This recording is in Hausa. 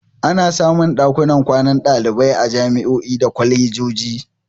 Ana samun ɗakunan kwanan ɗalibai a jami'o'i da kwalejoji.